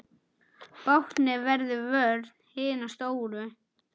Báknið verður vörn hinna stóru.